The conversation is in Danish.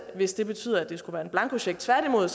hvis det betyder at det skulle være en blankocheck tværtimod